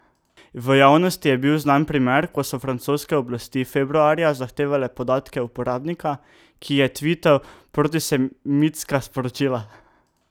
V javnosti je bil znan primer, ko so francoske oblasti februarja zahtevale podatke uporabnika, ki je tvital protisemitska sporočila.